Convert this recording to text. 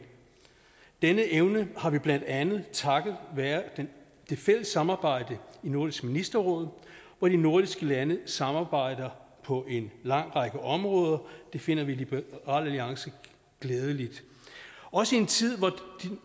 denne evne har vi blandt andet takket være det fælles samarbejde i nordisk ministerråd hvor de nordiske lande samarbejder på en lang række områder det finder vi i liberal alliance glædeligt også i en tid hvor